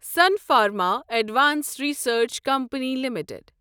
sun Pharma advanced research company limited